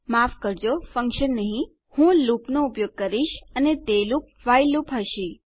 માફ કરજો ફંક્શન નહી હું લૂપનો ઉપયોગ કરીશ અને તે લૂપ વ્હાઇલ લૂપ હશે